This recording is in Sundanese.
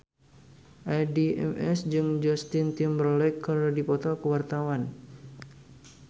Addie MS jeung Justin Timberlake keur dipoto ku wartawan